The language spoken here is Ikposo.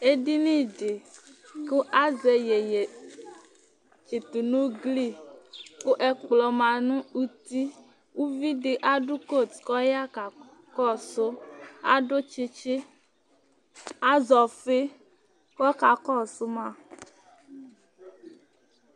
Ɛdiní di kʋ azɛ iyeyi tsitu nʋ ʋgli kʋ ɛkpɔ ma nu ʋti Ʋvidí adu kot kʋ ɔya kakɔsu Adu tsitsi, azɛ ɔfi kʋ ɔkakɔsu ma